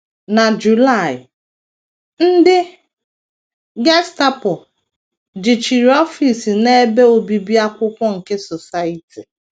Na July, ndị Gestapo jichiri ọfịs na ebe obibi akwụkwọ nke Society.